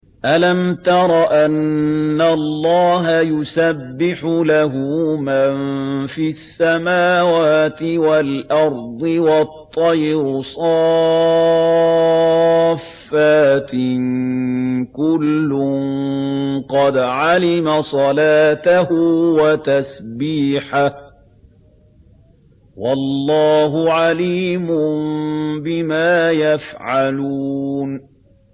أَلَمْ تَرَ أَنَّ اللَّهَ يُسَبِّحُ لَهُ مَن فِي السَّمَاوَاتِ وَالْأَرْضِ وَالطَّيْرُ صَافَّاتٍ ۖ كُلٌّ قَدْ عَلِمَ صَلَاتَهُ وَتَسْبِيحَهُ ۗ وَاللَّهُ عَلِيمٌ بِمَا يَفْعَلُونَ